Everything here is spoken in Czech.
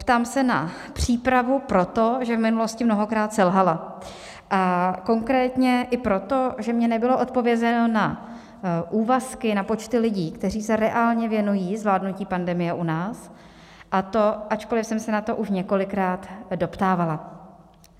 Ptám se na přípravu proto, že v minulosti mnohokrát selhala, a konkrétně i proto, že mně nebylo odpovězeno na úvazky, na počty lidí, kteří se reálně věnují zvládnutí pandemie u nás, a to ačkoliv jsem se na to už několikrát doptávala.